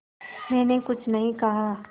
मैंने कुछ नहीं कहा